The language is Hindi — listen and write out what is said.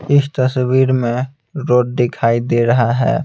इस तस्वीर में रोड दिखाई दे रहा है।